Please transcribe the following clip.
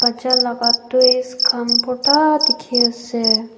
bacha laga toys khan borta dikhi ase.